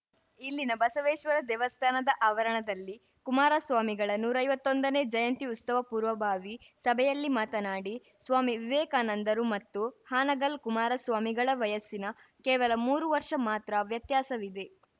ಇಲ್ಲಿನ ಬಸವೇಶ್ವರ ದೇವಸ್ಥಾನದ ಆವರಣದಲ್ಲಿ ಕುಮಾರಸ್ವಾಮಿಗಳ ನೂರೈವತ್ತೊಂದನೇ ಜಯಂತಿ ಉತ್ಸವದ ಪೂರ್ವಭಾವಿ ಸಭೆಯಲ್ಲಿ ಮಾತನಾಡಿ ಸ್ವಾಮಿ ವಿವೇಕಾನಂದರು ಮತ್ತು ಹಾನಗಲ್‌ ಕುಮಾರ ಸ್ವಾಮಿಗಳ ವಯಸ್ಸಿನ ಕೇವಲ ಮೂರು ವರ್ಷ ಮಾತ್ರ ವ್ಯತ್ಯಾಸವಿದೆ